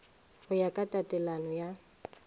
go ya ka tatelano ya